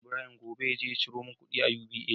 Na sa Ibrahim gobe yaje ya ciro mun kudi a UBA